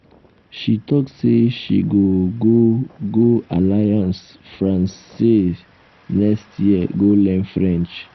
she talk sey she go go go alliance francaise next year go learn french.